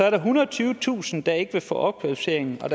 ethundrede og tyvetusind der ikke vil få en opkvalificering og at